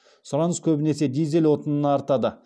сұраныс көбінесе дизель отынына артады